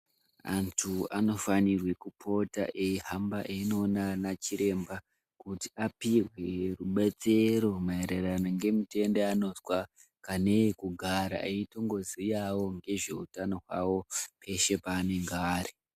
Antu anofanirwe kupota eyi hamba eino ona ana chiremba kuti apihwe rubetsero maererano nge mitenda yaanozwa kana iye kugara eitongo ziyawo ngezve utano hwawo peshe panenge ari.